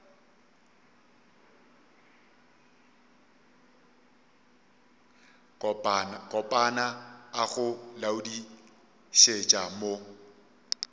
kopana a go laodišetša mo